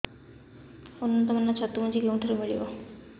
ଉନ୍ନତ ମାନର ଛତୁ ମଞ୍ଜି କେଉଁ ଠାରୁ ମିଳିବ